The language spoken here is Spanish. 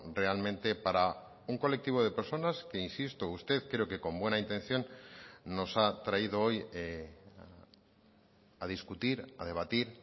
realmente para un colectivo de personas que insisto usted creo que con buena intención nos ha traído hoy a discutir a debatir